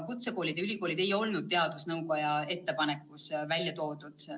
Kutsekoolid ja ülikoolid ei olnud teadusnõukoja ettepanekus välja toodud.